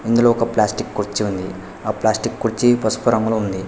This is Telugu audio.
ఇందులో ఒక ప్లాస్టిక్ కుర్చీ ఉంది ఆ ప్లాస్టిక్ కుర్చీ పసుపు రంగులో ఉంది.